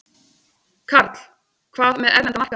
Karl: Hvað með erlenda markaði?